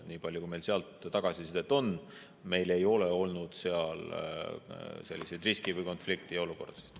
Nii palju, kui meil sealt tagasisidet on, meil ei ole olnud seal selliseid riski‑ või konfliktiolukordi.